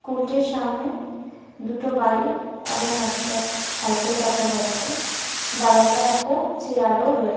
সামনে দেখতে পাচ্ছি একটি স্কুলের বারান্দা। তিনটি গাছ দেখা যাচ্ছে এবং পাশে কিছু ঝোঁপঝাড় ও আছ--